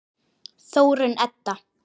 Þórunn Edda.